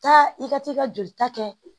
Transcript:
Taa, i ka taa i ka joli kɛ